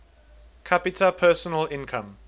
capita personal income